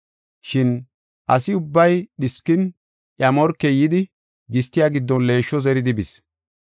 Shin asi ubbay dhiskin iya morkey yidi gistiya giddon leeshsho zeridi bis.